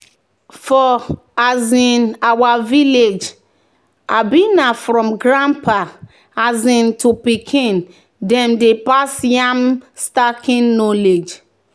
"for um our village um na from grandpapa um to pikin dem dey pass yam staking knowledge."